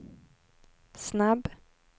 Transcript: snabb